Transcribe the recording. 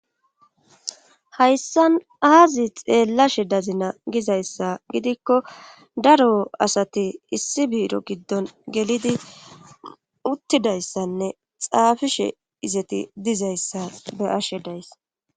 Hayssan aazi xeellashe dazina gizayssa gidikko daro asati issi biiro giddon gelidi uttidayssanne xaafishe izeti dizayssa be ashe dayssa.